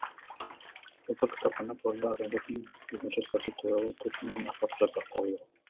ұлттық кітапхана қорында адамзаттың екінші ұстазы туралы төрт мыңнан аса құжат сақтаулы